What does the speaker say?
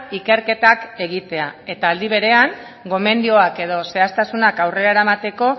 ikerketak egitea eta aldi berean gomendioak edo zehaztasunak aurrera eramateko